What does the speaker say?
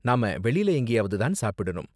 நாம வெளில எங்கயாவது தான் சாப்பிடனும்.